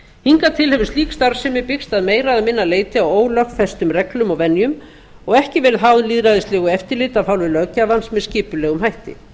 hingað til hefur slík starfsemi byggst á meira eða minna leyti á ólögfestum reglum og venjum og ekki verið háð lýðræðislegu eftirliti af hálfu löggjafans með skipulegum hætti